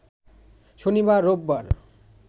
শনিবার, রোববার